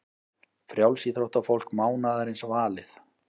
Frjálsíþróttafólk mánaðarins valið